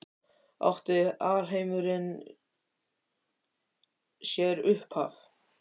Átti alheimurinn sér upphaf?